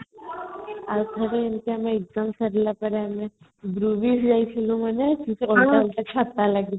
ଆଉ ଥରେ ଏମିତି ଆମେ exam ସରିଲା ପରେ ଆମେ ଯାଇଥିଲେ ମନେଅଛି ଛତା ଲାଗିଥିଲା